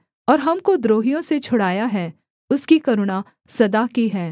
और हमको द्रोहियों से छुड़ाया है उसकी करुणा सदा की है